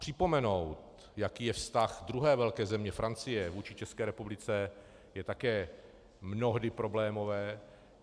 Připomenout, jaký je vztah druhé velké země, Francie, vůči České republice, je také mnohdy problémové.